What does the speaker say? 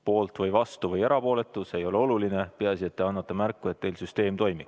Poolt või vastu või erapooletu, see ei ole oluline, peaasi, et te annate märku, et teil süsteem toimib.